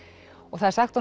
það er sagt